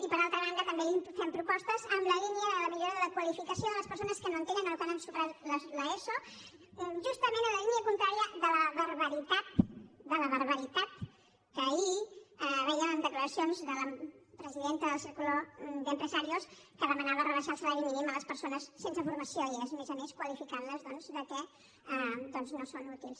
i per altra banda també li fem propostes en la línia de la millora de la qualificació de les persones que no tenen o que no han superat l’eso justament en la línia contrària de la barbaritat de la barbaritat que ahir vèiem en declaracions de la presidenta del círculo de empresarios que demanava rebaixar el salari mínim a les persones sense formació i a més a més qualificant les doncs que no són útils